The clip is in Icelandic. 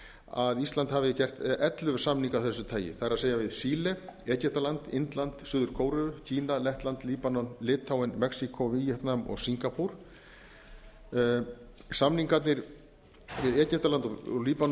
að íslandi hafi gert ellefu samninga af þessu tagi það er við chile egyptaland indland suður kóreu lettland líbanon litháen mexíkó víetnam og singapúr samningarnir við egyptaland og líbanon